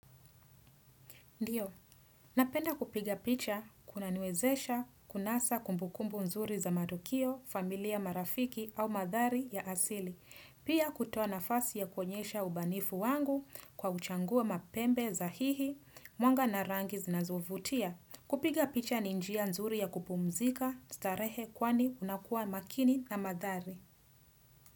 Ndiyo, napenda kupiga picha kuna niwezesha, kunasa kumbukumbu nzuri za matukio, familia marafiki au mandhari ya asili. Pia kutoa nafasi ya kuonyesha ubanifu wangu kwa uchangua mapembe sahihi, mwanga narangi zinazovutia. Kupiga picha ninjia nzuri ya kupumzika, starehe kwani unakua makini na mandhari.